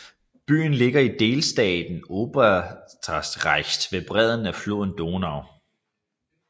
Byen ligger i delstaten Oberösterreich ved bredden af floden Donau